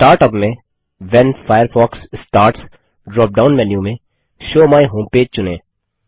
start up में when Firefox starts dropdown menu में show my home page चुनें